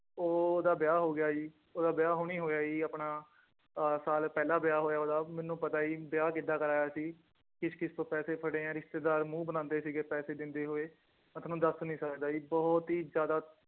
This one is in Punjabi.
ਉਹਦਾ ਵਿਆਹ ਹੋ ਗਿਆ ਜੀ ਉਹਦਾ ਵਿਆਹ ਹੁਣੀ ਹੋਇਆ ਜੀ ਆਪਣਾ ਆਹ ਸਾਲ ਪਹਿਲਾਂ ਵਿਆਹ ਹੋਇਆ ਉਹਦਾ ਮੈਨੂੰ ਪਤਾ ਜੀ ਵਿਆਹ ਕਿੱਦਾਂ ਕਰਵਾਇਆ ਅਸੀਂ ਕਿਸ ਕਿਸ ਤੋਂ ਪੈਸੇ ਫੜੇ ਹੈ ਰਿਸ਼ਤੇਦਾਰ ਮੂੰਹ ਬਣਾਉਂਦੇ ਸੀਗੇ ਪੈਸੇ ਦਿੰਦੇ ਹੋਏ ਮੈਂ ਤੁਹਾਨੂੰ ਦੱਸ ਨੀ ਸਕਦਾ ਜੀ ਬਹੁਤ ਹੀ ਜ਼ਿਆਦਾ